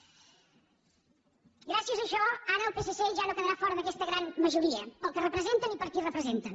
gràcies a això ara el psc ja no quedarà fora d’aquesta gran majoria pel que representen i per qui representen